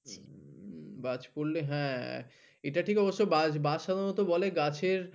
বাজ পড়লে হ্যা এটা ঠিক অবশ্য বাদ সাধারনত বলে গাছের